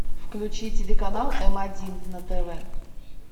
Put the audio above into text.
включи телеканал м один на тв